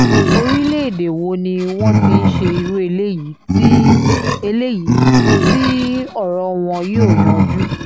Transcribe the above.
orílẹ̀-èdè wo ni wọ́n ti ń ṣe irú eléyìí tí eléyìí tí ọ̀rọ̀ wọn yóò yanjú